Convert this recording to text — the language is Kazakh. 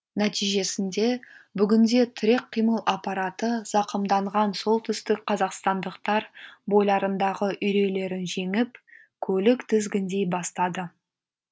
нәтижесінде бүгінде тірек қимыл аппараты зақымданған солтүстік қазақстандықтар бойларындағы үйрейлерін жеңіп көлік тізгіндей бастады